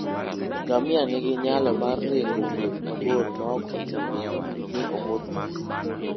Ngamia nigi nyalo mar ringo wuoth mabor maok ochuno ni omodh pi.